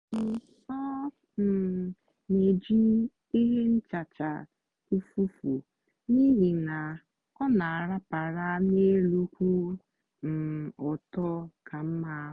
um ọ um na-eji ihe nchacha ụfụfụ n'ihi na ọ na-arapara n'elu kwụ um ọtọ ka mma.